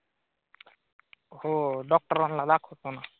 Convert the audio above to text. हो डॉक्टरांना दाखव तो ना.